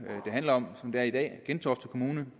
det handler om som det er i dag gentofte kommune